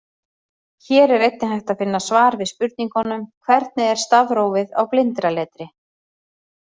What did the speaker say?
Hér er einnig hægt að finna svar við spurningunum: Hvernig er stafrófið á blindraletri?